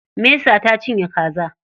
Mesa ta cinye kaza.